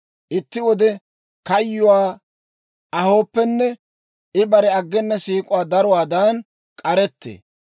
itti wode kayyuwaa ahooppenne, I bare aggena siik'uwaa daruwaadan k'arettee.